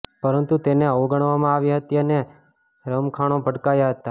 પરંતુ તેને અવગણવામાં આવી હતી અને રમખાણો ભડક્યા હતાં